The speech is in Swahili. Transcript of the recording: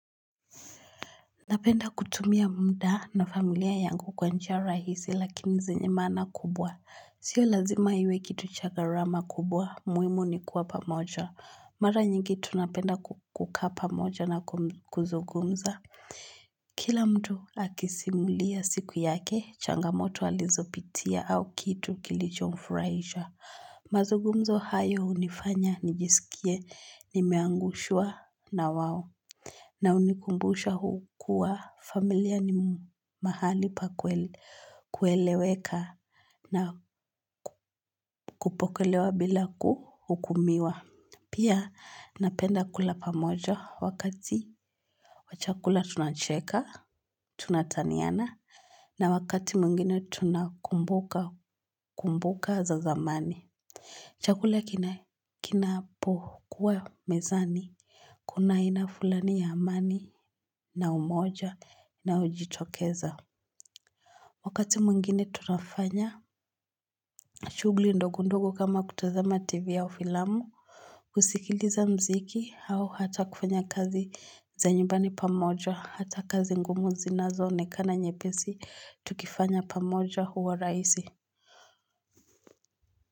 Napenda kutumia mda na familia yangu kwa njia rahisi lakini zenye maana kubwa. Sio lazima iwe kitu cha gharama kubwa, muhimu ni kuwa pamoja. Mara nyingi tunapenda ku kukaa pamoja na kuzungumza. Sio lazima iwe kitu cha gharama kubwa, muhimu ni kuwa pamoja. Mazungumzo hayo hunifanya, nijisikie, nimeangushwa na wao. Na hunikumbusha hukuwa familia ni mahali pa kuele kueleweka na kupokelewa bila kuhukumiwa. Pia napenda kula pamoja wakati wa chakula tunacheka, tunataniana na wakati mwingine tunakumbuka za zamani. Chakula kina kinapokuwa mezani, kuna aina fulani ya amani na umoja unaojitokeza. Wakati mwingine tunafanya, shughuli ndogo ndogo kama kutazama tv au ufilamu, kusikiliza mziki au hata kufanya kazi za nyumbani pamoja, hata kazi ngumu zinazoonekana nyepesi, tukifanya pamoja huwa rahisi.